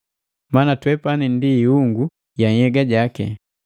maana twepani ndi iungu ya nhyega jaki.